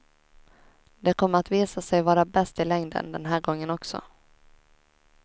Det kommer att visa sig vara bäst i längden den här gången också.